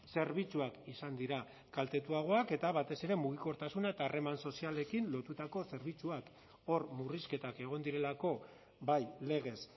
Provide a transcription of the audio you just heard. zerbitzuak izan dira kaltetuagoak eta batez ere mugikortasuna eta harreman sozialekin lotutako zerbitzuak hor murrizketak egon direlako bai legez